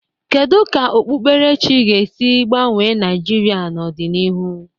Kedu ka okpukperechi ga-esi gbanwee Naịjirịa n'ọdịnihu?